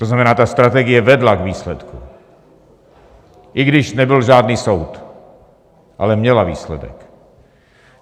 To znamená, ta strategie vedla k výsledku, i když nebyl žádný soud, ale měla výsledek.